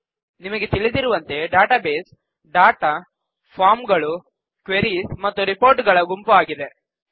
ನಿಮಗೆ ತಿಳಿದಿರುವಂತೆ database data form ಗಳು ಕ್ವೆರೀಸ್ ಮತ್ತು ರಿಪೋರ್ಟ್ಸ್ ಗಳ ಗುಂಪು ಆಗಿದೆ